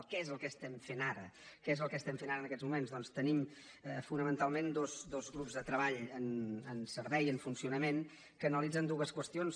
què és el que estem fent ara què és el que estem fent ara en aquests moments doncs tenim fonamentalment dos grups de treball en servei en funcionament que analitzen dues qüestions